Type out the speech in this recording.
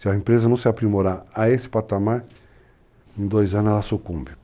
Se a empresa não se aprimorar a esse patamar, em dois anos ela sucumbe.